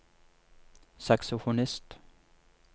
saksofonist